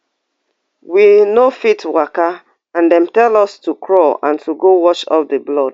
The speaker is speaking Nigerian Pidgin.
we no fit waka and dem tell us to crawl and go wash off di blood